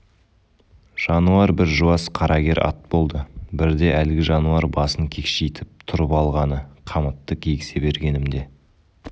жануар бір жуас қарагер ат болды бірде әлгі жануар басын кекшитіп тұрып алғаны қамытты кигізе бергенімде